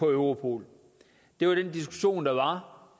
europol det var den diskussion der